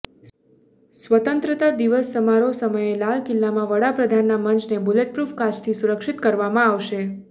સ્વતંત્રતા દિવસ સમારોહ સમયે લાલ કિલ્લામાં વડાપ્રધાનના મંચને બુલેટપ્રૂફ કાચથી સુરક્ષિત કરવામાં આવશે